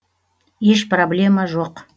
еш проблема жоқ